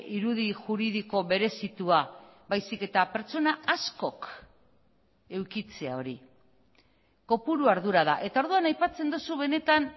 irudi juridiko berezitua baizik eta pertsona askok edukitzea hori kopuru ardura da eta orduan aipatzen duzu benetan